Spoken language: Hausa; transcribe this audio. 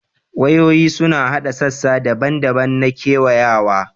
Wayoyi suna haɗa sassa daban-daban na kewayawa